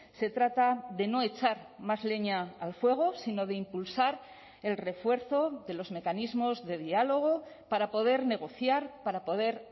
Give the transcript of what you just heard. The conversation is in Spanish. se trata de no echar más leña al fuego sino de impulsar el refuerzo de los mecanismos de diálogo para poder negociar para poder